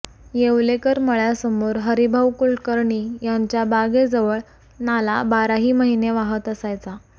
येवलेकर मळ्यासमोर हरिभाऊ कुलकर्णी यांच्या बागेजवळ नाला बाराही महिने वाहता असायचा